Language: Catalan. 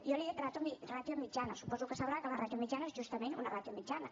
jo li he dit ràtio mitjana suposo que sabrà que la ràtio mitjana és justament una ràtio mitjana